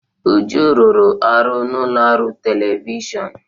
Uju rụrụ ọrụ n'ụlọ ọrụ telivishọn.